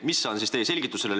Mis on teie selgitus sellele?